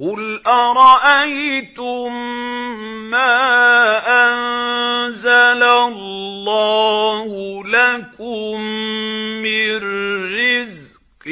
قُلْ أَرَأَيْتُم مَّا أَنزَلَ اللَّهُ لَكُم مِّن رِّزْقٍ